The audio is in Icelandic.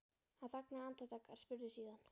Hann þagnaði andartak en spurði síðan